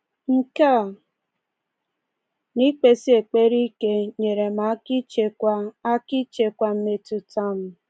Nke a, na ikpesi ekpere ike, nyeere m aka ịchịkwa aka ịchịkwa mmetụta m.